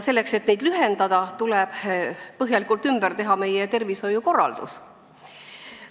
Selleks et neid järjekordi lühendada, tuleb põhjalikult ümber teha kogu meie tervishoiukorraldus.